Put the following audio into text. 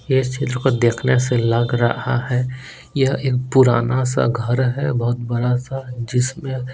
यह सील को देखने से लग रहा है यह एक पुराना सा घर है बहुत बड़ा सा जिसमें--